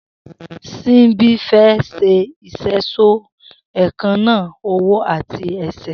Simbi fè ṣé iṣẹṣọ éékànná ọwọ àtí ẹsẹ